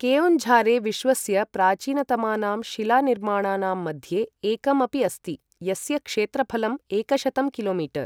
केओन्झारे विश्वस्य प्राचीनतमानां शिलानिर्माणानां मध्ये एकम् अपि अस्ति, यस्य क्षेत्रफलं एकशतं किलो मीटर्